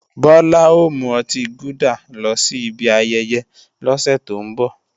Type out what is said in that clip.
Bọlá ò mú ọtí gúdà lọ sí ibi ayẹyẹ lọ́sẹ̀ tó ń bọ̀